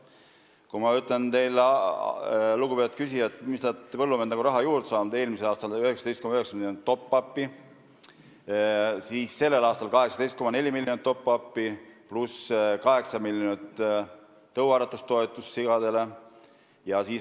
Kui ma ütlen teile, lugupeetud küsija, kui palju on põllumehed raha juurde saanud, siis eelmisel aastal oli top-up'i 19,9 miljonit, sellel aastal aga 18,4 miljonit pluss 8 miljonit eurot sigade tõuaretustoetust.